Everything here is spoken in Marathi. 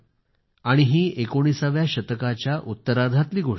आणि ही एकोणिसाव्या शतकाच्या उत्तरार्धातली गोष्ट आहे